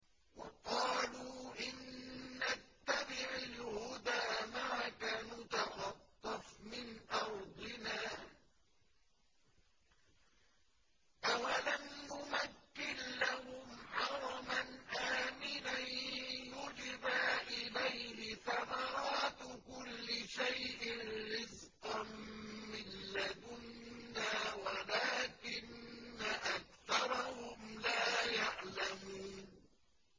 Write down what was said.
وَقَالُوا إِن نَّتَّبِعِ الْهُدَىٰ مَعَكَ نُتَخَطَّفْ مِنْ أَرْضِنَا ۚ أَوَلَمْ نُمَكِّن لَّهُمْ حَرَمًا آمِنًا يُجْبَىٰ إِلَيْهِ ثَمَرَاتُ كُلِّ شَيْءٍ رِّزْقًا مِّن لَّدُنَّا وَلَٰكِنَّ أَكْثَرَهُمْ لَا يَعْلَمُونَ